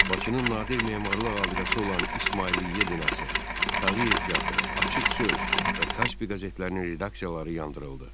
Bakının nadir memarlıq abidəsi olan İsmailiyyə binası, Tağıyev teatrı, Açıq söz və Kaspı qəzetlərinin redaksiyaları yandırıldı.